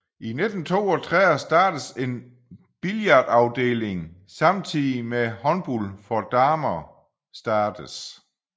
I 1932 startes en billardafdeling samtidig med håndbold for damer startes